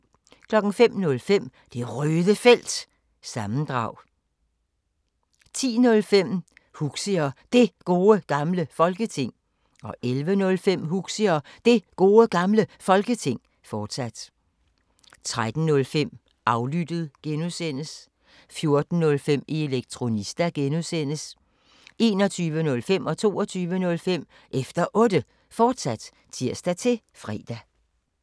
05:05: Det Røde Felt – sammendrag 10:05: Huxi og Det Gode Gamle Folketing 11:05: Huxi og Det Gode Gamle Folketing, fortsat 13:05: Aflyttet (G) 14:05: Elektronista (G) 21:05: Efter Otte, fortsat (tir-fre) 22:05: Efter Otte, fortsat (tir-fre)